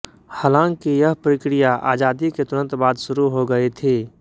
हालांकि यह प्रक्रिया आजादी के तुरंत बाद शुरू हो गई थी